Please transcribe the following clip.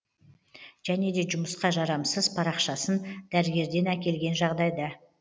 және де жұмысқа жарамсызм парақшасын дәрігерден әкелген жағдайда